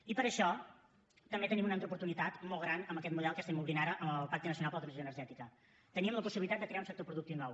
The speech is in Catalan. i per això també tenim una altra oportunitat molt gran amb aquest model que obrim ara amb el pacte nacional per a la transició energètica tenim la possibilitat de crear un sector productiu nou